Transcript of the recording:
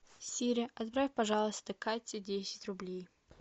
сири отправь пожалуйста кате десять рублей